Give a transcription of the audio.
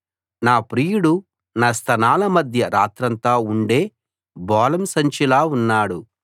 నా ప్రియుడు నా స్తనాల మధ్య రాత్రంతా ఉండే బోళం సంచిలా ఉన్నాడు